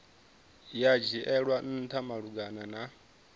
ya dzhielwa ntha malugana na